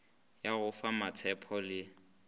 ya go fa mmatshepho le